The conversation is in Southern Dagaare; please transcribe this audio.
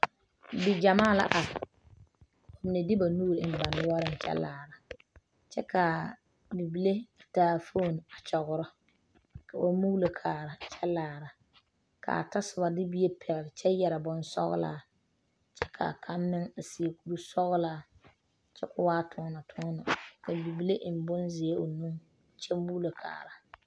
Bigyamaa la are ka mine de ba nuuri eŋ ba noɔreŋ kyɛ laara, kyɛ ka bibile taa fone a kyɔrɔ ka ba muulo kaara ka a tasoba de bie pɛgele kyɛ yeɛre bonsɔglaa kyɛ kaa kaŋ. meŋ seɛ kuri sɔglaa kyɛ kɔ waa tɔnetɔne ka bibile eŋ bonzeɛ o nu kyɛmuulo kaara.